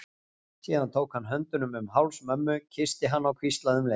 Síðan tók hann höndunum um háls mömmu, kyssti hana og hvíslaði um leið